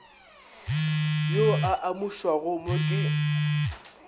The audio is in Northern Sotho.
yo a amušwago mo ke